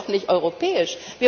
Das ist doch nicht europäisch!